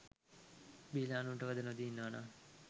බීලා අනුන්ට වද නොදී ඉන්නවනං